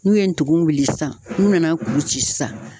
N'u ye ndugun wuli sisan n'u nana kuru ci sisan.